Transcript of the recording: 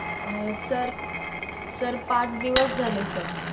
अं sir sir पाच दिवस झाले sir